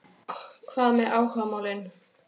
Hvað með áhugamálin?